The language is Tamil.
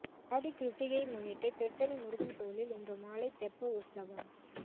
ஆடி கிருத்திகையை முன்னிட்டு திருத்தணி முருகன் கோயிலில் இன்று மாலை தெப்ப உற்சவம்